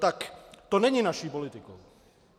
Tak to není naší politikou.